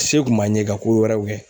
Se kun m'an ɲe ka kowɛrɛw kɛ